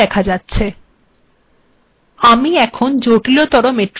এখানে লক্ষ্য করুন